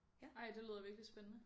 Ej det lyder virkelig spændende